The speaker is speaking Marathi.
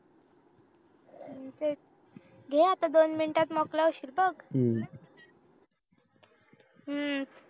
हम्म तेच घे आता दोन मिनिटंत मोकळं होशील बघ हम्म